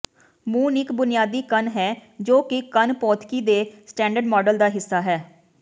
moon ਇਕ ਬੁਨਿਆਦੀ ਕਣ ਹੈ ਜੋ ਕਿ ਕਣ ਭੌਤਿਕੀ ਦੇ ਸਟੈਂਡਰਡ ਮਾਡਲ ਦਾ ਹਿੱਸਾ ਹੈ